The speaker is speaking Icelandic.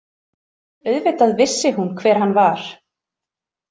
Auðvitað vissi hún hver hann var.